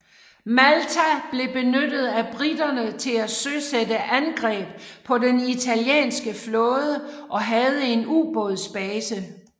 Malta blev benyttet af briterne til at søsætte angreb på den italienske flåde og havde en ubådsbase